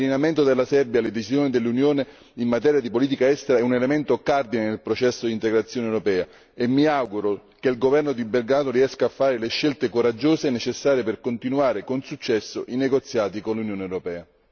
L'allineamento della Serbia alle decisioni dell'Unione in materia di politica estera è un elemento cardine nel processo di integrazione europea e mi auguro che il governo di Belgrado riesca a fare le scelte coraggiose necessarie per continuare con successo i negoziati con l'Unione europea.